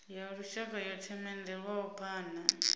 ya lushaka yo themendelwaho phana